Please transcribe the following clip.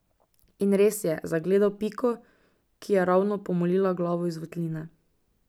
In res je zagledal Piko, ki je ravno pomolila glavo iz votline.